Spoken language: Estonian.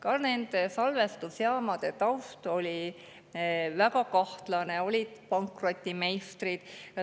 Ka nende salvestusjaamade taust oli väga kahtlane, olid pankrotimeistrid.